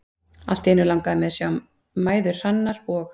Allt í einu langaði mig til að sjá mæður Hrannar og